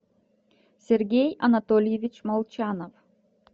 сергей анатольевич молчанов